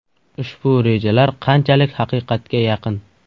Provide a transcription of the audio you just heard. Ushbu rejalar qanchalik haqiqatga yaqin?